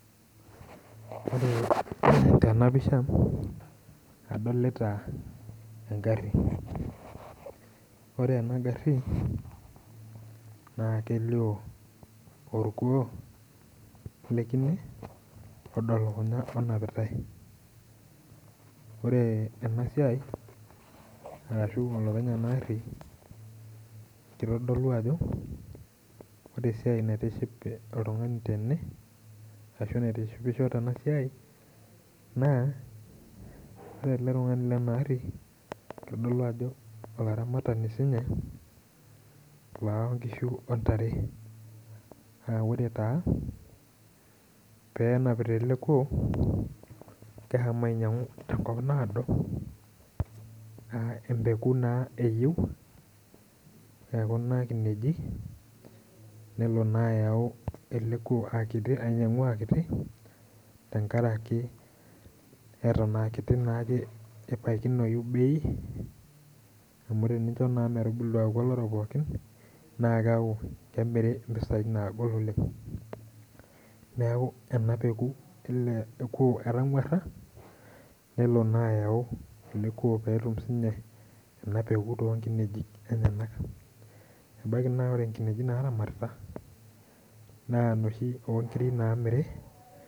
Ore tena pisha adolita egari, ore ena gari naa kelioo orkuoo le kine odo lukunya onapitae, ore ena siai, arashu olopeny ena ari kitodolu ajo ore esiai naitiship oltungani tene ashu naitishipisho tena siai naa ore ele tungani Lena ari kitodolu ajo olaramatani sii ninye loo nkishu, ontare, aa ore taa peenapita ele kuoo keshomo ainyiangu tenkopa naado.aa empeku naa eyieu ekuna kineji. nelo naa ayau ele kuoo ainyiangu aa kiti. tenkaraki Eton aa kiti naake ebaikinoyi bei. amu tenicho naa metubulu aaku olorok pookin naa keeku kemiri mpisai naagol oleng. neeku ena peeku ele kuoo etanguara. nelo naa ayau ele kuoo. pee etum sii ninye ena peeku too nkineji enyenak. ebaiki naa ore nkineji naaramatita naa inoshi oo nkiri.